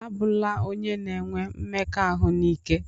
A bụna onye na-enwe mmekọahụ n'ike!